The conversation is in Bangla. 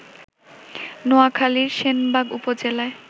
নোয়াখালীর সেনবাগ উপজেলায়